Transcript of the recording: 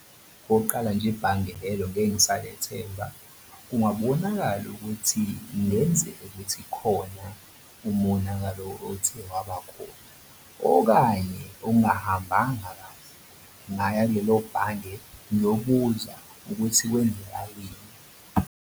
Okokuqala nje ibhange lelo ngeke ngisalethemba. Kungabonakali ukuthi kungenzeka ukuthi khona umonakalo othe wabakhona okanye okungahambanga kahle. Ngingaya kulelo bhange ngiyobuza ukuthi kwenzakaleni.